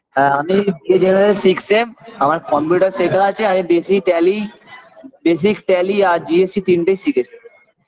হ্যাঁ আমি এ Two thousand six -এ আমার computer শেখা আছে আমি বেশি tally basic tally আর GST তিনটেই শিখেছি